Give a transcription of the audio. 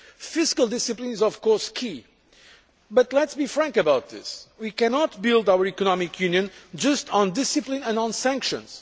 jobs. Fiscal discipline is of course key, but let us be frank about this we cannot build our economic union just on discipline and sanctions.